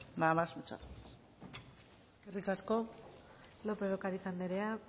nada más muchas gracias eskerrik asko lópez de ocariz anderea